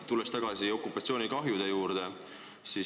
Tulen tagasi okupatsioonikahjude juurde.